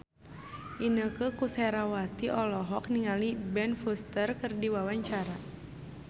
Inneke Koesherawati olohok ningali Ben Foster keur diwawancara